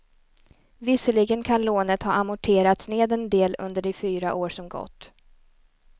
Visserligen kan lånet ha amorterats ned en del under de fyra år som gått.